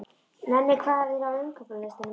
Nenni, hvað er á innkaupalistanum mínum?